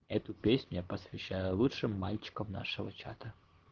эту песню я посвящаю лучшим мальчикам нашего чата